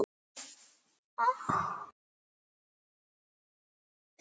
Barn hans er Arna Rún.